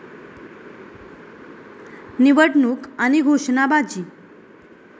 निवडणूक आणि घोषणाबाजी